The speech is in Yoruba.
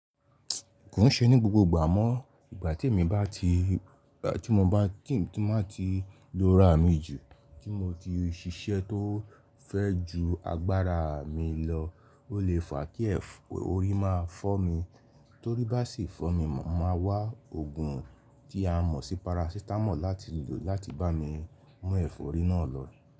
Kò ń ṣe ní gbogbo ìgbà amọ́. Ìgbà tí mo bá ti lora mi jù, tí mo ti ṣiṣẹ́ tó fẹ́ ju agbára mi lọ, ó lè fa kí ẹ̀fọ́rí máa fọ́ mi, torí bá sì fọ́ mi, màá wá òògùn tí a mọ̀ sí parasitamọ́ọ̀ láti lò láti bá mi mú ẹ̀fọ́rí náà lọ.